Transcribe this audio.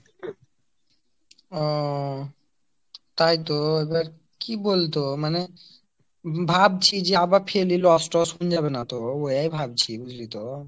ওওও তাই তো এবার কি বল তো মানে ভাবছি যে আবার ফের লিলে লস টস হৈয়ে যাবে না তো এই ভাবছি বুঝলি তো